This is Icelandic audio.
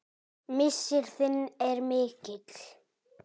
Missir þinn er mikill.